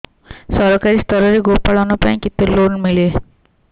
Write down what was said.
ସରକାରୀ ସ୍ତରରେ ଗୋ ପାଳନ ପାଇଁ କେତେ ଲୋନ୍ ମିଳେ